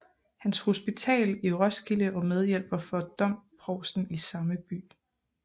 Hans Hospital i Roskilde og medhjælper for domprovsten i samme by